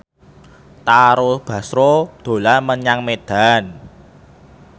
Tara Basro dolan menyang Medan